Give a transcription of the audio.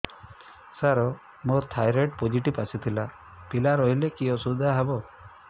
ସାର ମୋର thyroid positive ଆସିଥିଲା ପିଲା ରହିଲେ କି ଅସୁବିଧା ହେବ